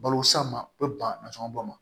Balo san ma o bɛ ban nansɔngɔ bɔn ma